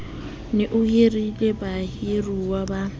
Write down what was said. ne o hirile bahiruwa ba